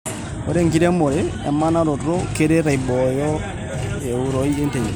Ore enkiremore emanaroto keret aiboyo euroi enterit.